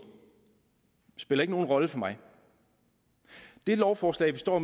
spiller ikke nogen rolle for mig det lovforslag vi står